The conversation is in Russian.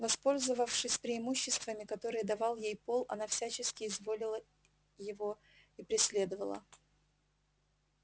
воспользовавшись преимуществами которые давал ей пол она всячески изводила его и преследовала